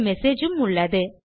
ஒரு மெசேஜ் உம் உள்ளது